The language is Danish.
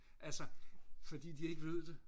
altså fordi de ikke ved det